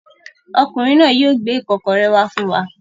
Ọkùnrin náà yóò gbé ìkọ́kọrẹ́ wá fún wa.